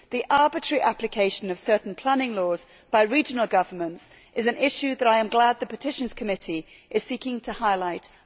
The arbitrary application of certain planning laws by regional governments is an issue that I am glad the Petitions Committee is seeking to highlight, and hopefully address.